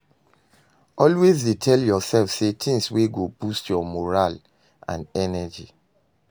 Always dey tel urself tins wey go boost yur moral and energy